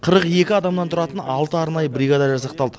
қырық екі адамнан тұратын алты арнайы бригада жасақталды